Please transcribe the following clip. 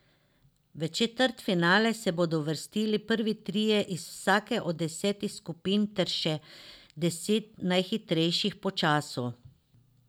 V četrtfinale se bodo uvrstili prvi trije iz vsake od desetih skupin ter še deset najhitrejših po času.